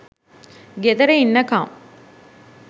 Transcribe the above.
ගෙදර ඉන්නකම්